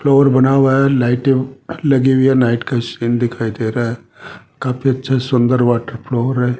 Floor बना हुआ है लाइटे लगी हुई है नाइट का सीन दिखाई दे रहा है काफी अच्छा सुंदर वाटर फ्लोर है।